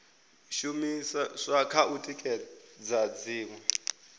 shumiswa kha u tikedza dziṅwe